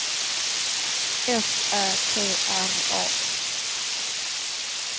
S Ä T R A